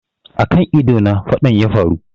A kan ido na faɗan yafaru